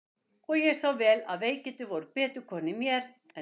Og ég sá vel að veikindin voru betur komin í mér en í systur minni.